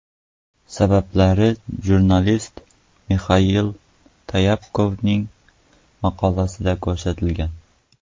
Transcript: Sabablar jurnalist Mixail Tyapkovning maqolasida ko‘rsatilgan.